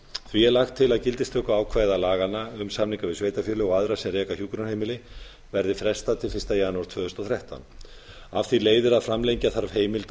því er lagt til að gildistökuákvæði laganna um samninga við sveitarfélög og aðra sem reka hjúkrunarheimili verði frestað til fyrsta janúar tvö þúsund og þrettán af því leiðir að framlengja þarf heimild